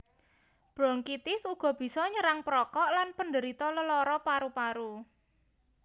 Bronkitis uga bisa nyerang perokok lan penderita lelara paru paru